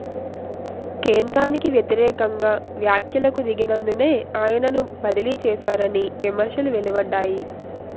కేంద్రానికి వ్యతిరేకంగా వ్యాఖ్యలకు దిగినందునే ఆయనను బదిలీ చేశారని విమర్శలు వెలువడ్డాయి